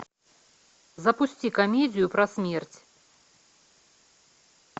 запусти комедию про смерть